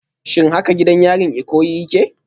Shin haka gidan yarin Ikoyi yake?